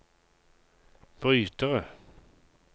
brytere